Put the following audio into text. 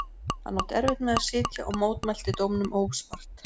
Hann átti erfitt með að sitja og mótmælti dómum óspart.